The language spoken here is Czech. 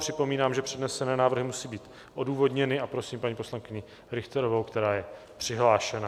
Připomínám, že přednesené návrhy musí být odůvodněny, a prosím paní poslankyni Richterovou, která je přihlášena.